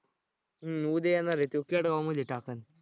हम्म उद्या येणार आहे त्यो केडगामध्ये टाकल.